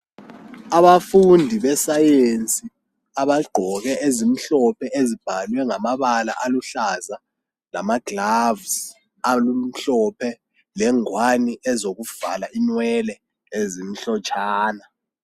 Abafundi besayensi abagqoke ezimhlophe ezibhalwe ngamabala aluhlaza lamagloves alokumhlophe lengwane ezokuvala inwele ezimhlotshwana.